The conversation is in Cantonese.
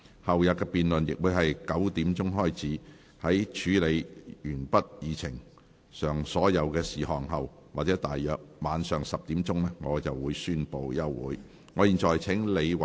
後天的辯論亦會在上午9時開始，在處理完畢議程上所有事項後或大約晚上10時，我便會宣布休會。